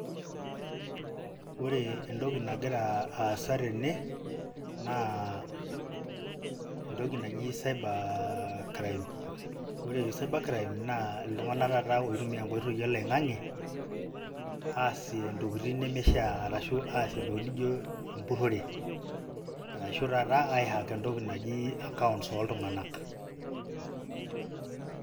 Ore entoki nagira aasa tene, naa entoki naji cyber crime. Ore cyber crime, naa iltung'anak taata oitumia enkoitoi oloing'ang'e, aasie intokiting nemishaa. Ashu aasie ntokiting nijo empurrore, arashu taata ai hack entoki naji, accounts oltung'anak.